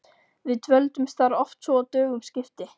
Við dvöldumst þar oft svo að dögum skipti.